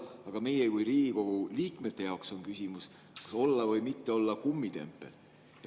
Aga meie kui Riigikogu liikmete jaoks on küsimus, kas olla või mitte olla kummitempel.